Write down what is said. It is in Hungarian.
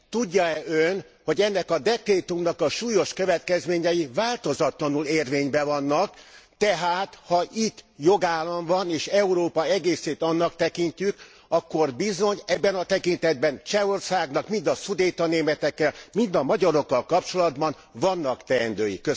Tudja e Ön, hogy ennek a dekrétumnak a súlyos következményei változatlanul érvényben vannak, tehát ha itt jogállam van, és Európa egészét annak tekintjük, akkor bizony ennek a tekintetben Csehországnak, mind a szudétanémetekkel, mind a magyarokkal kapcsolatban vannak teendői.